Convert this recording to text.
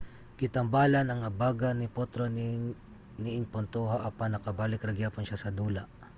gitambalan ang abaga ni potro niing puntoha apan nakabalik ra gihapon siya sa dula